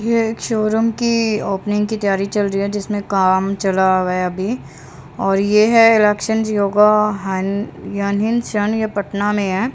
ये एक शोरूम की ओपनिंग की तैयारी चल रही है जिसमें काम चला हुआ है अभी और ये है जिओ का ये पटना में है।